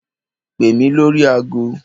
Pè mí lórí agọ.